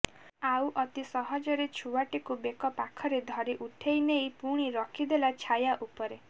ଆଉ ଅତି ସହଜରେ ଛୁଆଟିକୁ ବେକ ପାଖରେ ଧରି ଉଠେଇନେଇ ପୁଣି ରଖିଦେଲା ଛାୟା ଉପରେ